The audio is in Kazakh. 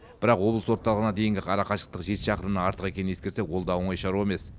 бірақ облыс орталығына дейінгі арақашықтық жеті шақырымнан артық екенін ескерсек ол да оңай шаруа емес